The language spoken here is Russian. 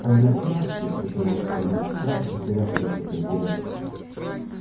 а иностранцы протянула скарлетт сразу потеряв к ним всякий интерес